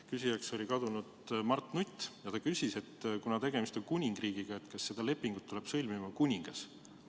Küsija oli kadunud Mart Nutt ja ta küsis, et kuna tegemist on kuningriigiga, siis kas seda lepingut tuleb sõlmima kuningas.